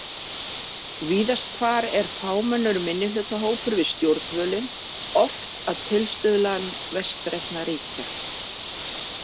Víðast hvar er fámennur minnihlutahópur við stjórnvölinn, oft að tilstuðlan vestrænna ríkja.